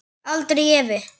Aldrei efi.